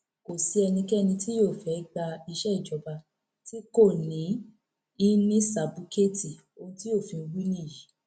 kò sí ẹnikẹni tí yóò fẹẹ gba iṣẹ ìjọba tí kò ní í ní sábúkẹẹtì ohun tí òfin wí nìyí